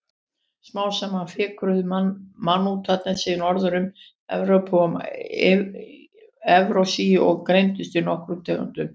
Smám saman fikruðu mammútarnir sig norður um Evrópu og Evrasíu og greindust í nokkrar tegundir.